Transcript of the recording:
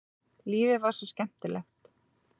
Lífið var svo skemmtilegt.